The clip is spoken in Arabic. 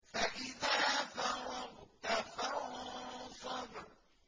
فَإِذَا فَرَغْتَ فَانصَبْ